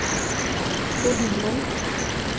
Gunhild Munk